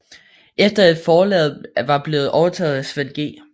Efter at forlaget var blevet overtaget af Svend G